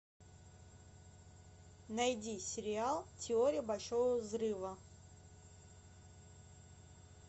найди сериал теория большого взрыва